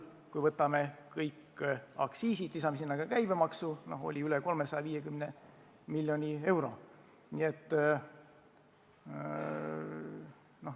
Kui me võtame kõik aktsiisid ja lisame sinna ka käibemaksu, siis see summa oli üle 350 miljoni euro.